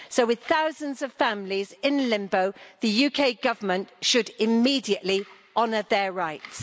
So, with thousands of families in limbo, the UK Government should immediately honour their rights.